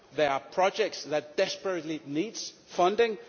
there are projects that desperately need funding